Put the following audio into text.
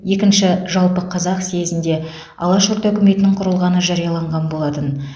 екінші жалпықазақ съезінде алаш орда үкіметінің құрылғаны жарияланған болатын